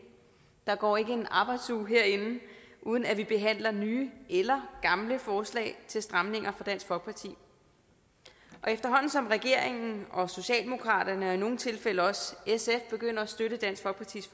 der går ikke en arbejdsuge herinde uden at vi behandler nye eller gamle forslag til stramninger fra dansk folkeparti og efterhånden som regeringen og socialdemokratiet og i nogle tilfælde også sf begynder at støtte dansk folkepartis